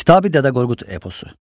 Kitabi Dədə Qorqud eposu.